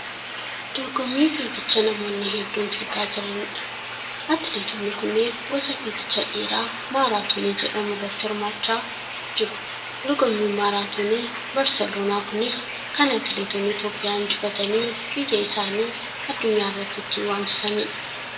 Dorgommii fiigicha namoonni hedduun fiigaa jiranidha. Atileetonni kunneen gosa fiigicha dheeraa maaraatonii jedhamu irratti hirmaachaa jiru. Dorgommiin maaraatonii barseloonaa kunis kan atileetonni Itiyoophiyaa injifatanii biyya isaanii addunyaa irratti ittiin waamsisanidha.